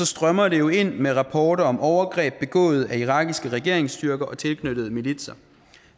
strømmer det jo ind med rapporter om overgreb begået af irakiske regeringsstyrker og tilknyttede militser